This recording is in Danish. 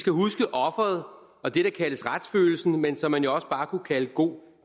skal huske offeret og det der kaldes retsfølelsen men som man jo også bare kunne kalde god